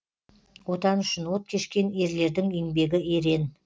отан үшін от кешкен ерлердің еңбегі ерен